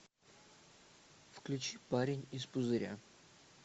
включи парень из пузыря